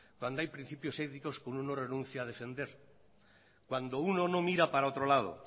cuando hay principios éticos que uno no renuncia a defender cuando uno no mira para el otro lado